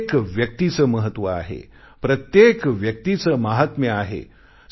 प्रत्येक व्यक्तीचे महत्व आहे प्रत्येक व्यक्तीचे माहात्म्य आहे